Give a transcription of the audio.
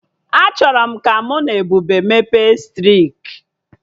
Achọrọ m ka mụ na Ebube mebe striki